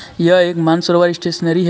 यह एक मानसरोवर स्टेशनरी है.